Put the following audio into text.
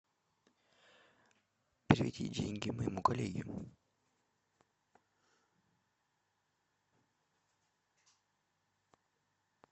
переведи деньги моему коллеге